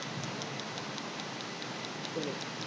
नाही रे मला नाही आली घरी मला सांगितल नस्त का